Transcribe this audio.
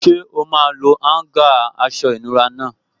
Ṣé o máa lo áúngà aṣọ ìnura náà?